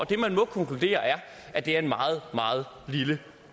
man må konkludere er at det er en meget meget lille